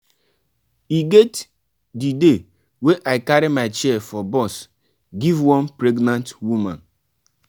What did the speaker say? e get di day wey i carry my chair for bus give one pregnant woman.